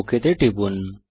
okay তে টিপুন